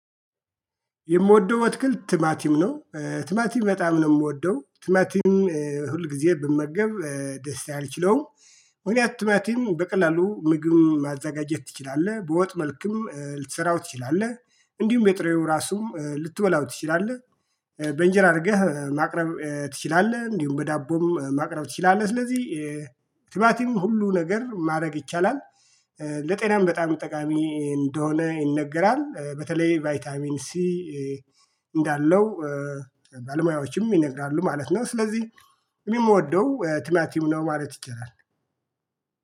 የምወደው አትክልት ቲማቲም ነው ቲማቲም በጣም ነው የምወደው ቲማቲም ሁልግዜ ብመገብ ደስታዬ አልችለውም። ምክንያቱም ቲማቲም በቀላሉ ምግብ ማዘጋጀት ትችላለህ በወጥ መልክም ልትሰራው ትችላለህ እንዲሁም የጥሬው ራሱም ልትበላው ትችላለህ። በእንጀራ አርገህ ማቅረብ ትችላለህ እንዲሁም በዳቦም ማቅረብ ትችላለህ ስለዚህ ቲማቲም ሁሉ ነገር ማረግ ይቻላል። ለጤናም በጣም ጠቃሚ እንደሆነ ይነገራል በተለይ ቫይታሚን ሲ እንዳለው ባለሞያዎቹም ይነግራሉ ማለት ነው። ስለዚህ እኔ ምወደው ትማቲም ነው ማለት ይቻላል